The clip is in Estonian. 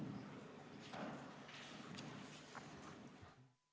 Istungi lõpp kell 13.09.